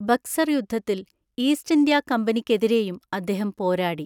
ബക്സർ യുദ്ധത്തിൽ East India കമ്പനിക്കെതിരെയും അദ്ദേഹം പോരാടി.